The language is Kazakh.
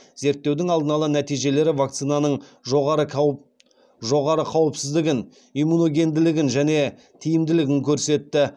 зерттеудің алдын ала нәтижелері вакцинаның жоғары қауіпсіздігін иммуногенділігін және тиімділігін көрсетті